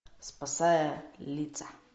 спасая лица